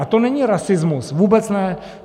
A to není rasismus, vůbec ne!